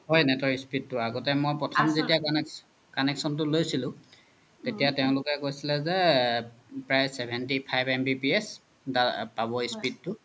হয় net তৰ speed তু আগতে মই প্ৰথম যেতিয়া connection তু লইছিলো তেতিয়া তেওলোকে কইছিলে যে প্ৰায় seventy five MBPS পবই speed তু